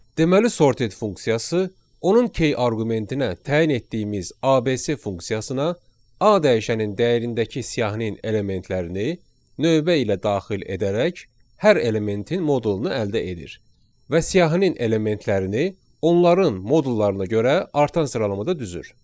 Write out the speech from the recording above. Deməli sorted funksiyası onun K arqumentinə təyin etdiyimiz ABC funksiyasına A dəyişəninin dəyərindəki siyahının elementlərini növbə ilə daxil edərək hər elementin modulunu əldə edir və siyahının elementlərini onların modullarına görə artan sıralamada düzür.